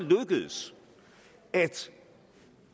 lykkedes at